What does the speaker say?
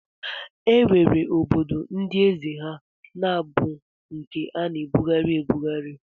E nwere obodo ndị eze ha na-abụ nke a na-ebugharị ebughari